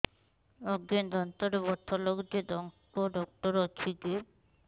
ଆଜ୍ଞା ଦାନ୍ତରେ ବଥା ଲାଗୁଚି ଦାନ୍ତ ଡାକ୍ତର ଅଛି କି